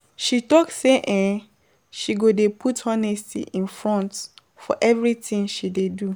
She tok sey um she go dey put honesty in front for everytin she dey do.